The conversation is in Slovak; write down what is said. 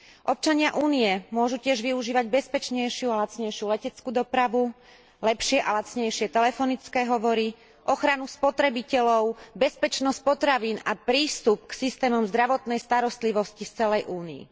Občania Únie môžu tiež využívať bezpečnejšiu a lacnejšiu leteckú dopravu, lepšie a lacnejšie telefonické hovory, ochranu spotrebiteľov, bezpečnosť potravín a prístup k systémom zdravotnej starostlivosti v celej Únii.